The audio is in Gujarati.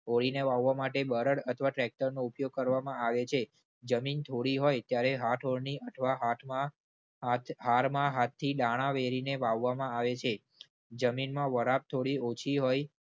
ઓળીના વાવવા માટે બળદ અથવા tractor નો ઉપયોગ કરવામાં આવે છે. જમીન થોડી હોય ત્યારે હાથોળની અથવા હાથમાં હાથહારમાં હાથથી દાણા વેરીને વાવવામાં આવે છે. જમીનમાં વરાબ થોડી ઓછી હોય